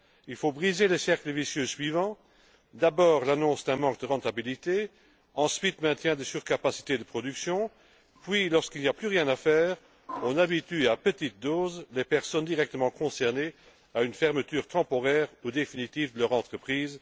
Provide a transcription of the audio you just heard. Il faut briser le cercle vicieux suivant d'abord l'annonce d'un manque de rentabilité, ensuite le maintien des surcapacités de production puis lorsqu'il n'y a plus rien à faire, on habitue à petite dose des personnes directement concernées à une fermeture temporaire ou définitive de leur entreprise.